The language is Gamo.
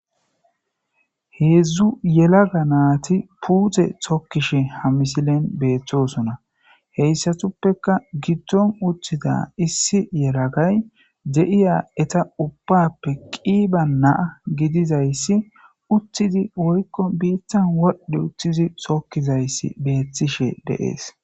Hezdu yelaga nati puute tokishe ha misilen betosona. Heysatupeka gidon uttida issi yelagay de'iya eta ubappe qiba na'a gididays utid woyko bittan wodh utidi tokizays betishe de'es.